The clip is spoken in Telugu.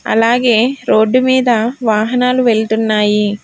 అలాగే రోడ్డు మీద వాహనాలు వెళ్తున్నాయి.